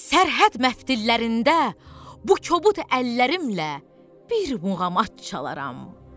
Sərhəd məftillərində bu kobud əllərimlə bir muğamat çalaram.